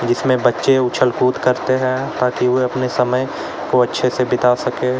इसमें बच्चे उछलकूद करते है ताकि वो अपने समय को अच्छे से बिता सके।